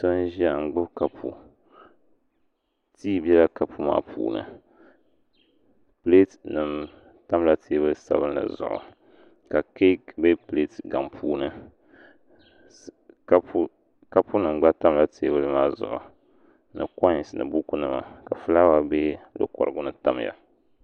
So n ʒiya n gbubi kapu tii bɛla kapu maa puuni pileet nim tamla teebuli sabinli zuɣu ka keek bɛ pileet kam puuni kapu nim gba tamla teebuli maa zuɣu ni koins ni buku nima ka fulaawa bɛ di kurigu ni tamya